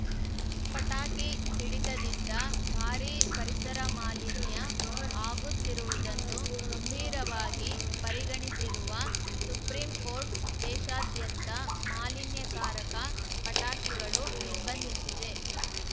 ಪಟಾಕಿ ಸಿಡಿತದಿಂದ ಭಾರೀ ಪರಿಸರ ಮಾಲಿನ್ಯ ಆಗುತ್ತಿರುವುದನ್ನು ಗಂಭೀರವಾಗಿ ಪರಿಗಣಿಸಿರುವ ಸುಪ್ರೀಂಕೋರ್ಟ್‌ ದೇಶಾದ್ಯಂತ ಮಾಲಿನ್ಯಕಾರಕ ಪಟಾಕಿಗಳು ನಿರ್ಬಂಧಿಸಿದೆ